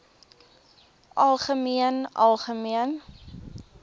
algemeen algemeen